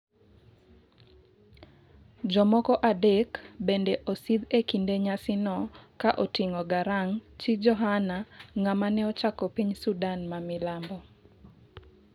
jomoko adek bende osidh e kinde nyasi no ka oting'o Garang',chi Johana-ng'ama ne ochako piny Sudan ma milambo